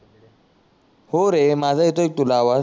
हो रे माझा येतोय का तुला आवाज